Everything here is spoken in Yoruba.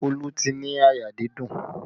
Olu ti ní àyà dídùn